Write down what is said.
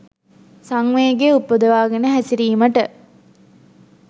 සංවේගය උපදවා ගෙන හැසිරීමට